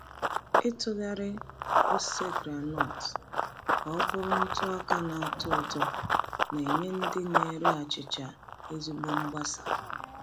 Ịtụgharị ose groundnut ka ọ bụrụ ntụ ọka na-atọ ụtọ na-enye ndị na-ere achịcha ezigbo mgbasa.